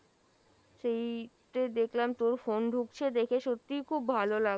সেই যে দেখলাম তোর phone ঢুকছে, দেখে সত্যি খুব ভালো লাগ,